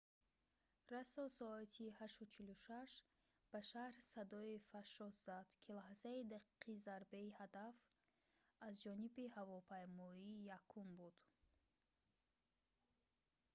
расо соати 8:46 ба шаҳр садое фашшос зад ки лаҳзаи дақиқи зарбаи ҳадаф аз ҷониби ҳавопаймои якум буд